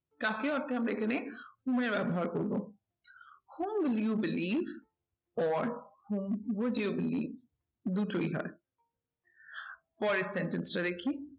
কাকে অর্থে আমরা এখানে who এর ব্যবহার করবো who you believe or who will you believe দুটোই হয়। পরের sentence টা দেখি